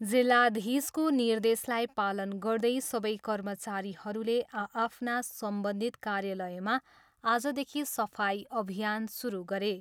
जिल्लाधीशको निर्देशलाई पालन गर्दै सबै कर्मचारीहरूले आआफ्ना सम्बन्धित कार्यालयमा आजदेखि सफाइ अभियान सुरु गरे।